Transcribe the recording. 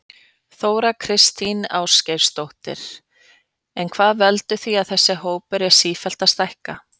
Þóra Kristín Ásgeirsdóttir: En hvað veldur því að þessi hópur er sífellt að stækka?